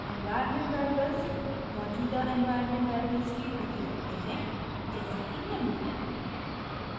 environment variables मौजूदा environment variables की प्रति रखते हैं जैसे की निम्न